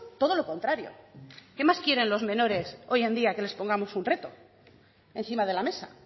todo lo contrario qué más quieren los menores hoy en día que les pongamos un reto encima de la mesa